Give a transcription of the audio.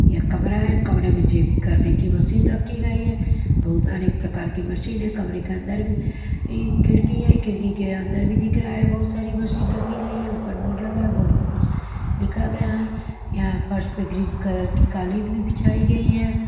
यह कमरा है कमरे में जिम करने की मशीन रखी गई है बहुत अनेक प्रकार की मशीन है कमरे के अंदर भी खिड़की है खिड़की के अंदर भी दिख रहा है बहुत सारी मशीन रखी गई है ऊपर बोर्ड लगा है बोर्ड पे कुछ लिखा गया है यहाँ फर्श पे ग्रीन कलर की कालीन भी बिछाई गई है।